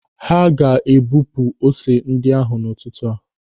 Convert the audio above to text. Ha ga na-ebupu ose ndị ahụ n'ụtụtụ a.